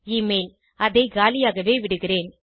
Email- அதை காலியாகவே விடுகிறேன்